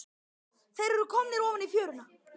Þeir eru komnir ofan í fjöruna.